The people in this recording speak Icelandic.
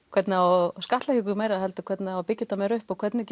hvernig á að skattleggja okkur meira heldur hvernig á að byggja þetta meira upp og hvernig